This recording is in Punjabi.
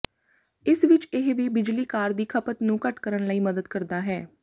ਇਸ ਵਿਚ ਇਹ ਵੀ ਬਿਜਲੀ ਕਾਰ ਦੀ ਖਪਤ ਨੂੰ ਘੱਟ ਕਰਨ ਲਈ ਮਦਦ ਕਰਦਾ ਹੈ